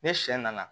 Ni sɛ nana